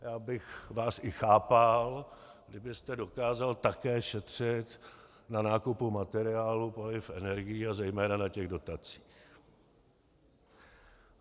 Já bych vás i chápal, kdybyste dokázal také šetřit na nákupu materiálu, paliv, energií a zejména na těch dotacích.